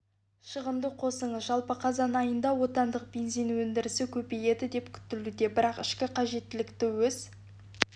шығынды қосыңыз жалпы қазан айында отандық бензин өндірісі көбейеді деп күтілуде бірақ ішкі қажеттілікті өз